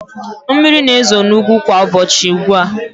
Mmiri na-ezo n'ugwu kwa ụbọchị ugbu a.